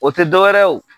O tɛ dɔ wɛrɛ ye o